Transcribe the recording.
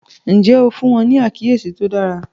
Ǹjẹ́ o fún wọ́n ní àkíyèsí tó dára?